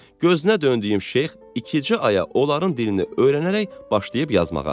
Gözünə döndüyüm şeyx iki ay olaraq onların dilini öyrənərək başlayıb yazmağa.